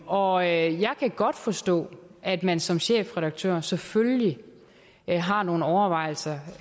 og og jeg kan godt forstå at man som chefredaktør selvfølgelig har nogle overvejelser